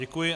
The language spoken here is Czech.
Děkuji.